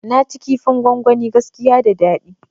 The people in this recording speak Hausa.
Naci kifin gwangwani gaskiya da dadi